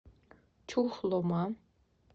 чухлома